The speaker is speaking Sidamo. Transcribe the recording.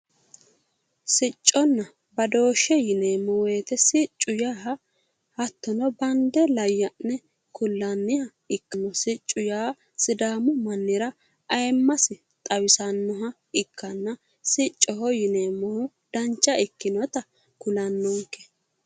Sicconna badooshshe yineemmo woyiite siccu yaa hattono bande layya'ne kullanniha ikkanna siccu yaa sidaamu mannira ayiimmasi xawisannoha ikkanna siccoho yineemmohu dancha ikkinota kulannonke.